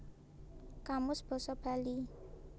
Kamus Basa Bali